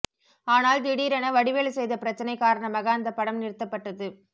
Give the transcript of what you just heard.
ஆனால் திடீரென வடிவேலு செய்த பிரச்சனை காரணமாக அந்த படம் நிறுத்தப்பட்டது